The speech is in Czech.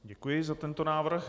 Děkuji za tento návrh.